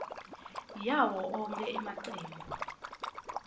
yawo onkhe emacembu